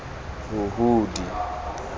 huhudi